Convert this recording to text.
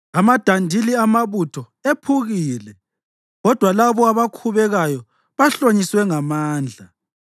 Amadandili amabutho ephukile, kodwa labo abakhubekayo bahlonyiswe ngamandla.